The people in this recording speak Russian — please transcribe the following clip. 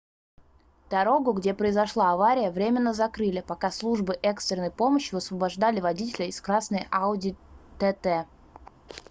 дорогу где произошла авария временно закрыли пока службы экстренной помощи высвобождали водителя из красной audi tt